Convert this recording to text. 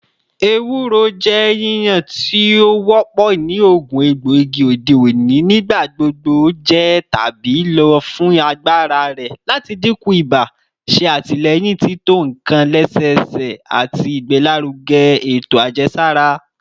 Ewuro jẹ yiyan ti o wọpọ ni oogun egboigi ode oni, nigbagbogbo jẹ tabi lo fun agbara rẹ lati dinku iba, ṣe atilẹyin tito nkan lẹsẹsẹ, ati igbelaruge eto ajẹsara